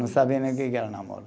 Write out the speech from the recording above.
Não sabia nem o que que era namoro.